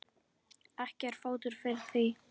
Ekki er fótur fyrir því.